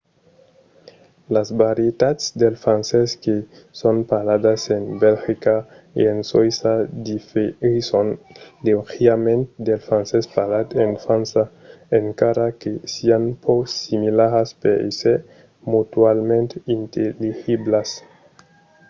las varietats del francés que son parladas en belgica e en soïssa diferisson leugièrament del francés parlat en frança encara que sián pro similaras per èsser mutualament intelligiblas